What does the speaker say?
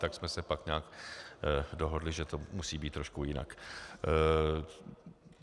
Tak jsme se pak nějak dohodli, že to musí být trošku jinak.